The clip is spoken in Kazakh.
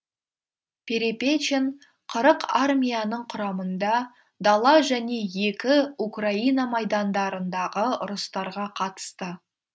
перепечин қырық армияның құрамында дала және екі украина майдандарындағы ұрыстарға қатысты